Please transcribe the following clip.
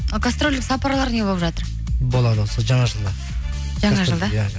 а гастрольдік сапарлар не болып жатыр болады осы жаңа жылда жаңа жылда иә